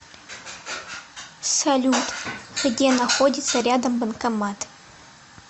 салют где находится рядом банкомат